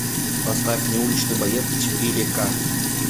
поставь мне уличный боец четыре к